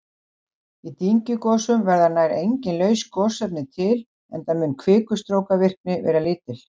Í dyngjugosum verða nær engin laus gosefni til enda mun kvikustrókavirkni vera lítil.